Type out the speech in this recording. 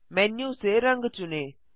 menu से रंग चुनें